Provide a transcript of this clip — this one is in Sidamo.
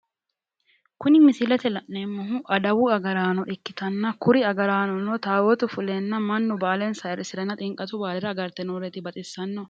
Kuni misilete la'neemmohu adawu agaraano ikkitanna kuni agaraanono taawootu fuleenna mannu baalensa ayiirisiranna xinqatu baalera agarte nooreeti baxisaanno.